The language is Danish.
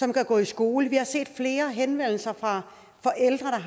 kan gå i skole vi har set flere henvendelser fra forældre